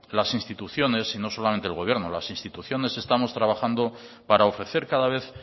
las instituciones y no solamente el gobierno las instituciones estamos trabajando para ofrecer cada vez